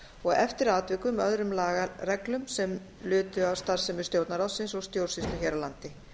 og eftir atvikum öðrum lagareglum sem lutu að starfsemi stjórnarráðsins og stjórnsýslu hér á landi